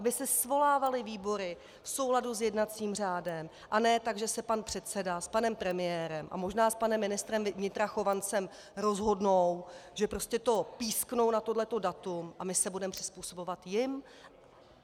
Aby se svolávaly výbory v souladu s jednacím řádem a ne tak, že se pan předseda s panem premiérem a možná s panem ministrem vnitra Chovancem rozhodnou, že prostě to písknou na toto datum, a my se budeme přizpůsobovat jim.